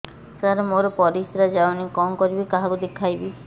ସାର ମୋର ପରିସ୍ରା ଯାଉନି କଣ କରିବି କାହାକୁ ଦେଖେଇବି